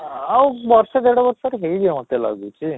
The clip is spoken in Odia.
ଆଃ ଆଉ ବର୍ଷେ ଦି ବର୍ଷରେ ହେଇ ଯିବ ମୋତେ ଲାଗୁଛି